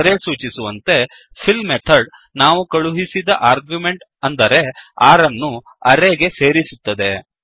ಹೆಸರೇ ಸೂಚಿಸುವಂತೆ fill method ನಾವು ಕಳುಹಿಸಿದ ಆರ್ಗ್ಯುಮೆಂಟ್ ಅಂದರೆ 6 ಅನ್ನು ಅರೇ ಗೆ ಸೇರಿಸುತ್ತದೆ